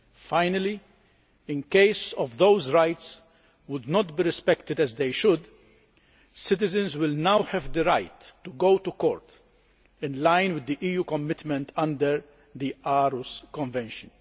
Finally, in case those rights are not respected as they should be, citizens will now have the right to go to court, in line with the EU commitment under the Aarhus Convention.